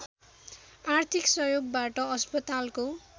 आर्थिक सहयोगबाट अस्पतालको